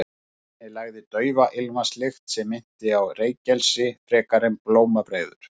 Af henni lagði daufa ilmvatnslykt sem minnti á reykelsi frekar en blómabreiður.